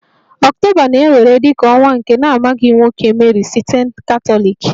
October na-ewere dị ka ọnwa nke na-amaghị nwoke Mary site Catholics